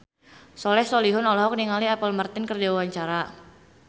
Soleh Solihun olohok ningali Apple Martin keur diwawancara